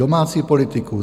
Domácí politiku?